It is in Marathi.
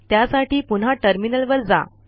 त्यासाठी पुन्हा टर्मिनल वर जा